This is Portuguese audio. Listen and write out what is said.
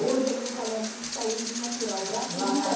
Hoje eu dou palestra de saúde natural, gratuita